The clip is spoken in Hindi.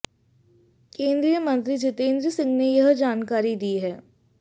केंद्रीय मंत्री जितेंद्र सिंह ने यह जानकारी दी है